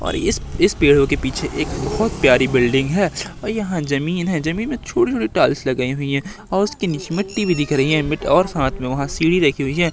और इस इस पेड़ों के पीछे एक बहुत प्यारी बिल्डिंग है और यहां जमीन है जमीन में छोटे छोटे टाइल्स लगाई हुई हैं और उसके नीचे मिट्टी भी दिख रही हैं मिट्टी और साथ में वहां सीढ़ी रखी हुई है।